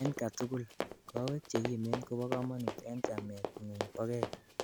en katugul: kowek chegimen kobo kamanut en chamet ngung bogei